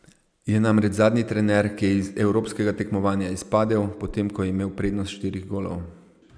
Je namreč zadnji trener, ki je iz evropskega tekmovanja izpadel, potem ko je imel prednost štirih golov.